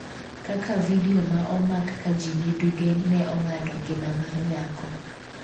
kaka vidio ma omak ka ji ni duge ne ong'ado ngima mar nyako